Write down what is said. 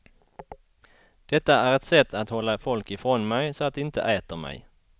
Detta är ett sätt att hålla folk ifrån mig så att de inte äter mig.